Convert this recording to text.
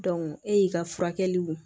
e y'i ka furakɛliw